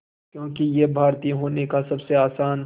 क्योंकि ये भारतीय होने का सबसे आसान